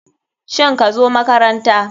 Shin kazo makaranta.